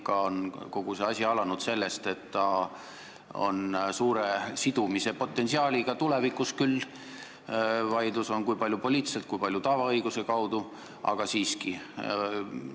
Ikka on kogu asi alanud sellest, et see on suure sidumise potentsiaaliga tulevikus, ja vaieldud on selle üle, kui palju poliitiliselt, kui palju tavaõiguse kaudu, aga siiski.